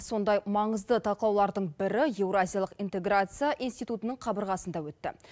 сондай маңызды талқылаулардың бірі еуразилық интеграция институтының қабырғасында өтті